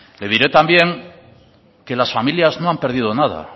le diré también que las familias no han perdido nada